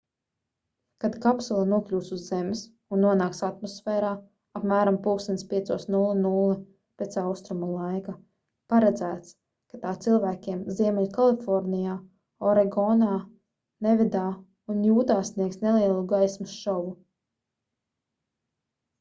kad kapsula nokļūs uz zemes un nonāks atmosfērā apmēram plkst. 5:00 pēc austrumu laika paredzēts ka tā cilvēkiem ziemeļkalifornijā oregonā nevadā un jūtā sniegs nelielu gaismas šovu